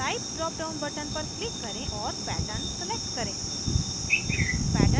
type dropdown button पर click करें और pattern select करें